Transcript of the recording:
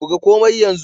Buga komai yanzu